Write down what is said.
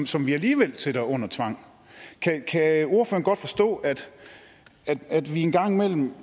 som vi alligevel sætter under tvang kan ordføreren godt forstå at at vi en gang imellem